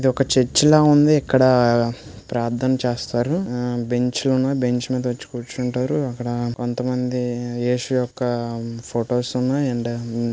ఇది ఒక చర్చి లా ఉంది ఇక్కడ ఆ ప్రార్థన చేస్తారు ఉహ్ బెంచులున్నాయి బెంచ్ మీద వచ్చి కూర్చుంటారు ఇక్కడ కొంతమంది ఏసు యొక్క ఫొటోస్ ఉన్నాయి అండ్ --